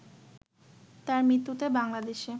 তাঁর মৃত্যুতে বাংলাদেশে